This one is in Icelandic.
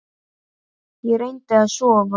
Ég reyndi að sofa.